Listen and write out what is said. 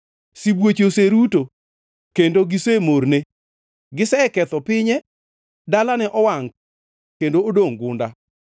Sibuoche oseruto; kendo gisemorne. Giseketho pinye; dalane owangʼ kendo odongʼ gunda.